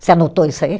Você anotou isso aí?